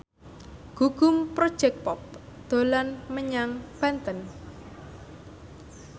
Gugum Project Pop dolan menyang Banten